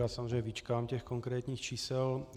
Já samozřejmě vyčkám těch konkrétní čísel.